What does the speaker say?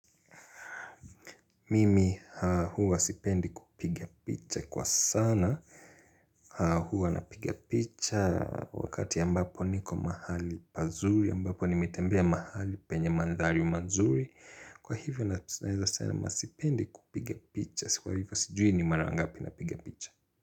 Mimi huwa sipendi kupigia picha kwa sana huwa napigia picha wakati ambapo niko mahali pazuri ambapo nimetembea mahali penye mandhari mazuri kwa hivyo na sipendi kupigia picha kwa hivyo sijui ni mara ngapi napiga picha.